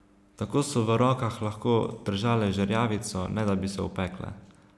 Tako so v rokah lahko držale žerjavico, ne da bi se opekle.